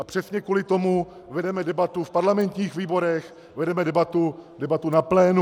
A přesně kvůli tomu vedeme debatu v parlamentních výborech, vedeme debatu na plénu.